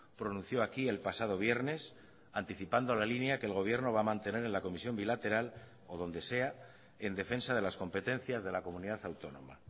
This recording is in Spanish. pronunció aquí el pasado viernes anticipando la línea que el gobierno va a mantener en la comisión bilateral o donde sea en defensa de las competencias de la comunidad autónoma